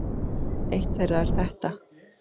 Eitt þeirra er þetta